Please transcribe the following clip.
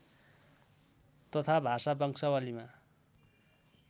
तथा भाषा वंशावलीमा